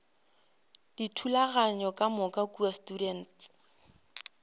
dithulaganyo ka moka kua students